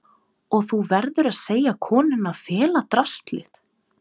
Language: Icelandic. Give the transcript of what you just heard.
Og þú verður að segja konunni að fela draslið.